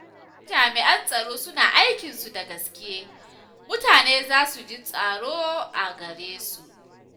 Idan jami’an tsaro suna aikinsu da gaskiya, mutane za su ji tsaro a gare su.